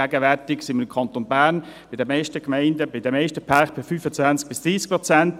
Gegenwärtig sind wir im Kanton Bern bei den meisten Gemeinden, bei den meisten Pärken bei 25–30 Prozent.